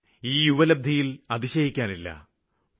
പലപ്പോഴും ഈ യുവതലമുറയുടെ നേട്ടങ്ങളില് അതിശയിക്കാനില്ല